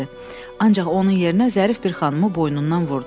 "Ancaq onun yerinə zərif bir xanımı boynundan vurdu."